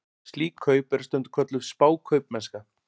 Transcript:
Slík kaup eru stundum kölluð spákaupmennska.